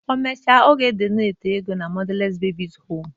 O mechee ọ ga-edoneti ego na mọdales bebis hom